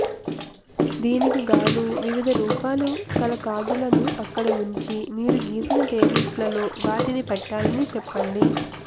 దీనికిగాను వివిధ రూపాలు కల కార్డులను అక్కడ వుంచి మీరు గీసిన టేబుల్స్ లో వాటిని పెట్టాలని చెప్పండి